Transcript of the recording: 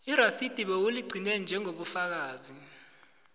irasidi bewuligcine njengobufakazi